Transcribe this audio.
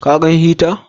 Ka gan hita?